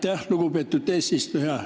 Aitäh, lugupeetud eesistuja!